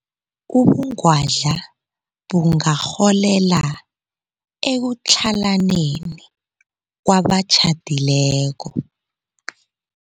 Ubungwadla bungarholela ekutlhalaneni kwabatjhadileko.